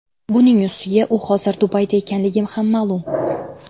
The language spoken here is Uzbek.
Buning ustiga, u hozir Dubayda ekanligi ham ma’lum.